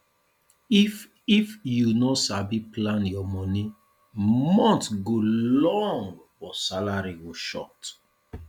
if if you no sabi plan your money month go long but salary go short